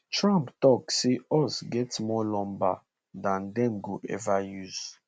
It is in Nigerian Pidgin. trump tok say us get more lumber dan dem go ever use